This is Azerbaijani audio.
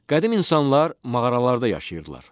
Qədim insanlar mağaralarda yaşayırdılar.